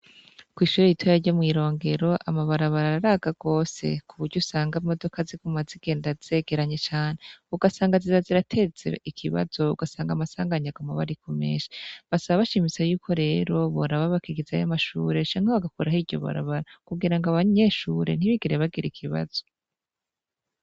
Kw'ishure ritoya ryo mw'irongero amabarabara araga gose ku buryo usanga imodoka ziguma zigenda zegeranye cane ugasanga ziba zirateza ikibazo ugasanga amasanganya aguma aba ari menshi, basaba bashimitse yuko rero boraba bakigizayo ayo mashure canke bagakuraho iryo barabara kugira ngo abanyeshure ntibigere bagira ikibazo.